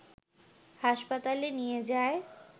হাসপাতালে নিয়ে যায়